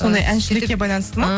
сондай әншілікке байланысты ма